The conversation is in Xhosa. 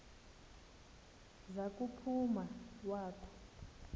za kuphuma wakhu